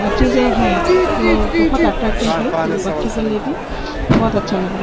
अ चीजे है जो बहुत अट्रैक्टिव हैं बच्चों को लिए भी बहुत अच्छा लग रहा है।